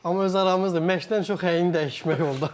Amma öz aramızdır, məşqdən çox əyin dəyişmək oldu.